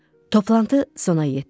Toplantı sona yetdi.